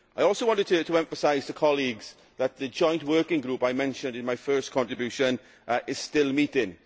I also wanted to emphasise to colleagues that the joint working group I mentioned in my first contribution is still meeting.